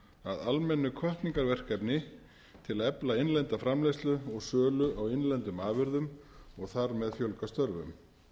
að almennu hvatningarverkefni til að efla innlenda framleiðslu og sölu á innlendum afurðum og þar með fjölga störfum